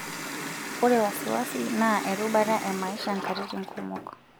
Ore wasiwasi naa erubata e maisha nkatitin kumok.